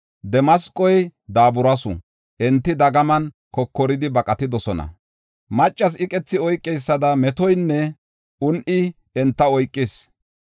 Damasqoy daaburis; enti dagaman kokoridi baqatidosona; maccas iqethi oykeysada metoynne un7i enta oykis.